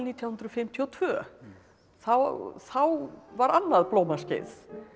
hundruð fimmtíu og tvö þá þá var annað blómaskeið